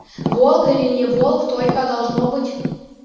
волк или не волк только должно быть